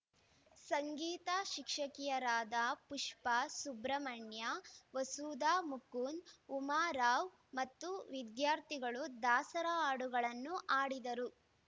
ಸಂಗೀತ ಶಿಕ್ಷಕಿಯರಾದ ಪುಷ್ಪಾ ಸುಬ್ರಹ್ಮಣ್ಯ ವಸುಧಾ ಮುಕುಂದ್‌ ಉಮಾರಾವ್‌ ಮತ್ತು ವಿದ್ಯಾರ್ಥಿಗಳು ದಾಸರ ಹಾಡುಗಳನ್ನು ಹಾಡಿದರು